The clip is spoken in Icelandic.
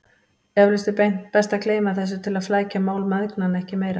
Eflaust er best að gleyma þessu til að flækja mál mæðgnanna ekki meira.